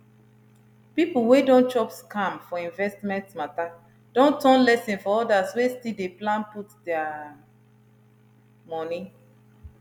people wey don chop scam for investment matter don turn lesson for others wey still dey plan put their money